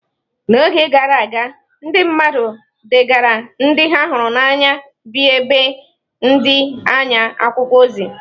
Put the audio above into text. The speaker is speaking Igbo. N’oge gara aga, ndị mmadụ degaara ndị ha hụrụ n’anya bi n’ebe dị anya akwụkwọ ozi.